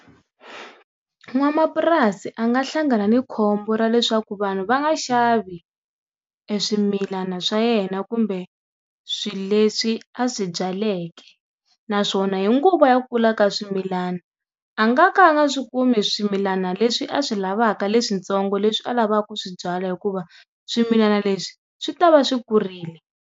N'wamapurasi a nga hlangana ni khombo ra leswaku vanhu va nga xavi eswimilana swa yena kumbe swilo leswi a swi byaleke naswona hi nguva ya kula ka swimilana a nga ka a nga swi kumi swimilana leswi a swi lavaka leswintsongo leswi a lavaka ku swi byala hikuva swimilana leswi swi ta va swi kurile.